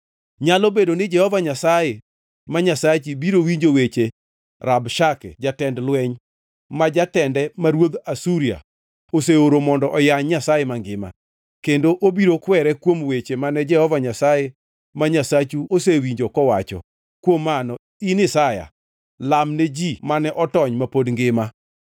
Nyalo bedo ni Jehova Nyasaye ma Nyasachi biro winjo weche Rabshake jatend lweny, ma jatende ma ruodh Asuria oseoro mondo oyany Nyasaye mangima, kendo obiro kwere kuom weche mane Jehova Nyasaye ma Nyasachu osewinjo kowacho. Kuom mano, in Isaya, lamne ji mane otony ma pod ngima.”